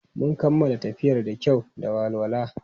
Mun kammala tafiyar da kyau da walwala.